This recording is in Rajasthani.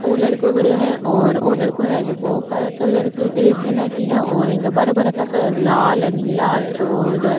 वो लड़को खड्यो है और वो लड़को है जो को काला कलर की ड्रेस पेहेन राखी है और इका बड़ा बड़ा सा लाल नीला ओर --